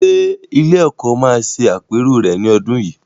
Ṣé ilé-ẹ̀kọ́ máa ṣe àpérò rẹ̀ ní ọdún yìí?